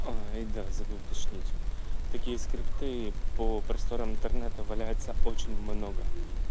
и да забыл уточнить такие скрипты по просторам интернета валяется очень много